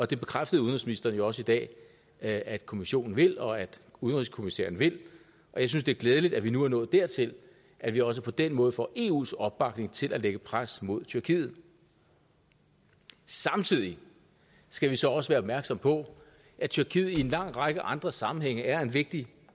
det bekræftede udenrigsministeren jo også i dag at kommissionen vil og at udenrigskommissæren vil jeg synes det er glædeligt at vi nu er nået dertil at vi også på den måde får eus opbakning til at lægge pres mod tyrkiet samtidig skal vi så også være opmærksomme på at tyrkiet i en lang række andre sammenhænge er en vigtig